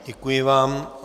Děkuji vám.